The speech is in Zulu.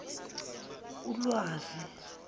ulwazi